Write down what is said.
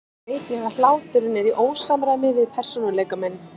Samt veit ég að hláturinn er í ósamræmi við persónuleika minn.